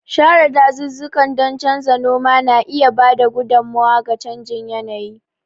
Share dazuzzukan don canza noma na iya ba da gudummawa ga canjin yanayi.